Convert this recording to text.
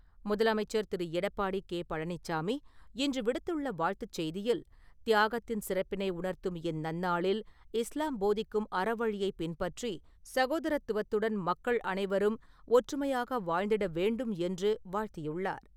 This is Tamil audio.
முதலமைச்சர் திரு. எடப்பாடி கே. பழனிச்சாமி இன்று விடுத்துள்ள வாழ்த்துச்செய்தியில், தியாகத்தின் சிறப்பினை உணர்த்தும் இந் நன்னாளில் இஸ்லாம் போதிக்கும் அறவழியை பின்பற்றி, சகோதரத்துவத்துடன் மக்கள் அனைவரும் ஒற்றுமையாக வாழ்ந்திட வேண்டும் என்று, வாழ்த்தியுள்ளார்.